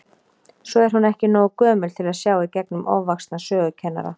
Svo er hún ekki nógu gömul til að sjá í gegnum ofvaxna sögukennara.